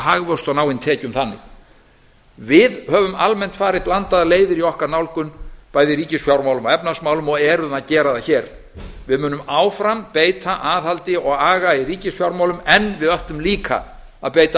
hagvöxt og ná inn tekjum þannig við höfum almennt farið blandaðar leiðir í okkar nálgun bæði í ríkisfjármálum og efnahagsmálum og erum að gera það hér við munum áfram beita aðhaldi og aga í ríkisfjármálum en við ætlum líka að beita